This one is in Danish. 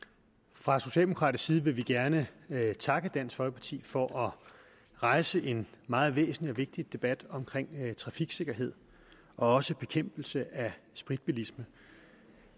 fra socialdemokratisk side vil vi gerne takke dansk folkeparti for at rejse en meget væsentlig og vigtig debat om trafiksikkerhed og også bekæmpelse af spritbilisme